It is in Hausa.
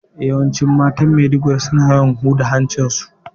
Yawanci matan Maiduguri, suna yawan ɓula hancin su.